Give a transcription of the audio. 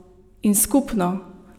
In skupno!